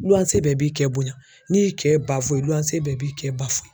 Luwanse bɛɛ b'i cɛ bonya n'i y'i cɛ ba fo luwanse bɛɛ b'i cɛ ba fo.